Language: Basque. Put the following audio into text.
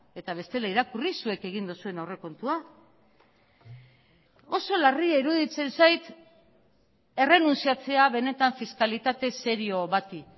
eta bestela irakurri zuek egin duzuen aurrekontua oso larria iruditzen zait errenuntziatzea benetan fiskalitate serio bati